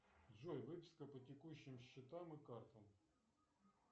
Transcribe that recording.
джой выписка по текущим счетам и картам